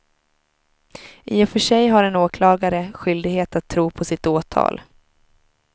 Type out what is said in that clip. I och för sig har en åklagare skyldighet att tro på sitt åtal.